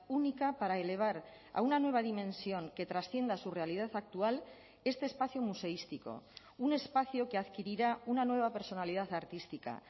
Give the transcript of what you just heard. única para elevar a una nueva dimensión que trascienda su realidad actual este espacio museístico un espacio que adquirirá una nueva personalidad artística